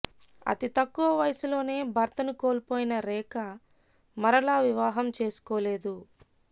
అతి తక్కువ వయసులోనే భర్తను కోల్పోయిన రేఖ మరలా వివాహం చేసుకోలేదు